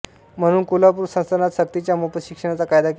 म्हणून कोल्हापूर संस्थानात सक्तीच्या मोफत शिक्षणाचा कायदा केला